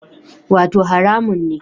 Wato haramun ne